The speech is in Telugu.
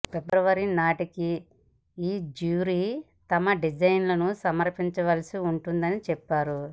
ఫిబ్రవరి నాటికి ఈ జ్యూరీ తమ డిజైన్లను సమర్పించవలసి ఉంటుందని చెప్పారు